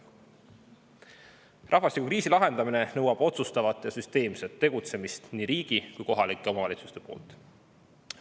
Rahvastikukriisi lahendamine nõuab nii riigi kui ka kohalike omavalitsuste otsustavat ja süsteemset tegutsemist.